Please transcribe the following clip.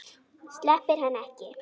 Sleppir henni ekki.